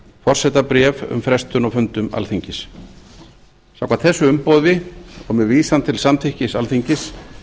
forsetabréf um frestun á fundum alþingis samkvæmt þessu umboði og með vísan til samþykkis alþingis